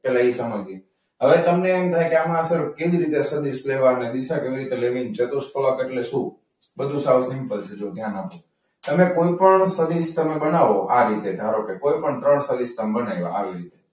હવે તમને એમ થાય કે કેવી રીતે સદીશ લેવાનું, ડીસા કેવી રીતે લેવી, ચતુષ્ફલક એટલે શું? ધ્યાન આપજો. તમે કોઈપણ સદીશ તમે બનાવો ધારો કે આ રીતે કોઈપણ ત્રણ સદિશ તમે બનાવી દો આ રીતે.